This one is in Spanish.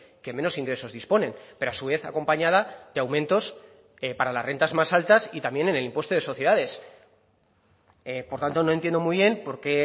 que menos ingresos disponen pero a su vez acompañada de aumentos para las rentas más altas y también en el impuesto de sociedades por tanto no entiendo muy bien porqué